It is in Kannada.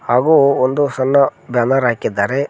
ಹಾಗು ಒಂದು ಸಣ್ಣ ಬ್ಯಾನರ್ ಹಾಕಿದ್ದಾರೆ.